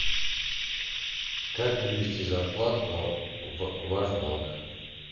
как перевести зарплату в ваш банк